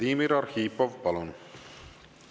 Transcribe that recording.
Vladimir Arhipov, palun!